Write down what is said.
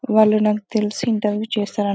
వాళ్లు నాకు తెలిసి ఇంటర్వ్యూ చేస్తున్నారు